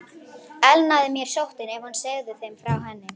Elnaði mér sóttin, ef hún segði þeim frá henni?